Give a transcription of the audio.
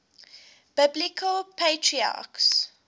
biblical patriarchs